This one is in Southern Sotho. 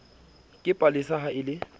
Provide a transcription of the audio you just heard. ke palesa ha e le